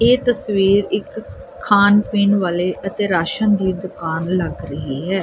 ਇਹ ਤਸਵੀਰ ਇੱਕ ਖਾਣ ਪੀਣ ਵਾਲੇ ਅਤੇ ਰਾਸ਼ਨ ਦੀ ਦੁਕਾਨ ਲੱਗ ਰਹੀ ਹੈ।